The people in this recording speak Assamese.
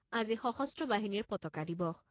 আজি সশস্ত্ৰ বাহিনীৰ পতাকা দিৱস।